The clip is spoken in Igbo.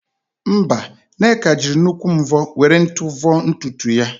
Mba, Nneka jịrị nnukwu mvọ were nt vọọ ntutu ya